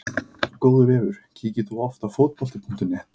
Góður vefur Kíkir þú oft á Fótbolti.net?